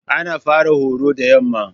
Ana fara horo da yamma.